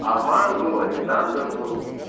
арман был александр был